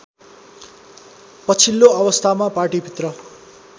पछिल्लो अवस्थामा पार्टीभित्र